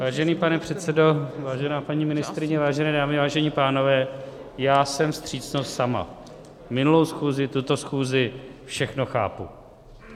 Vážený pane předsedo, vážená paní ministryně, vážené dámy, vážení pánové, já jsem vstřícnost sama, minulou schůzi, tuto schůzi, všechno chápu.